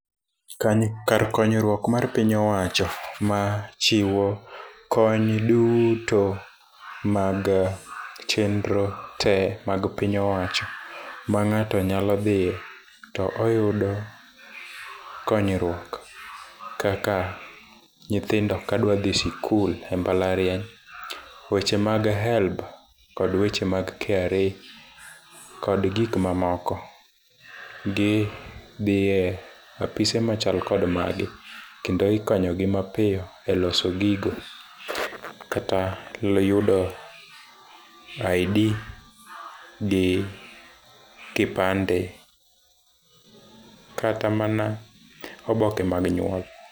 Kani kar konyruok mar piny owacho machiwo kony duuto mag chenro te mag piny owacho ma ng'ato nyalo dhi to oyudo konyruok. Kaka nyithindo ka dwa dhi sikul emabalariany weche mag HELB kod weche mag KRA kod gik mamamoko gi dhie apise machal kod magi kendo ikonyogi mapiyo eloso gigo kata yudo ID gi kipande. Kata mana oboke mag nyuol.